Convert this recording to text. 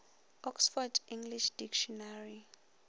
oxford english dictionary